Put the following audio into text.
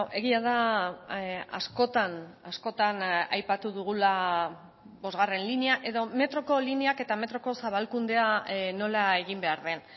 egia da askotan askotan aipatu dugula bosgarren linea edo metroko lineak eta metroko zabalkundea nola egin behar den